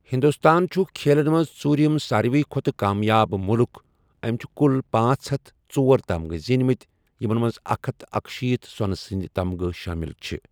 ہِنٛدوستان چُھ کھیلن منٛز ژوٗریُم سارِوٕیہ کھۄتہٕ کامیاب مُلٕک، أمہِ چھِ کُل پانژھ ہتھَ تہٕ ژور تمغہٕ زیٖنمٕتۍ ، یِمن منٛز اکھ ہتَھَ تہٕ اکشیٖتھ سۄنہٕ سندۍ تمغہٕ شٲمِل چھِ ۔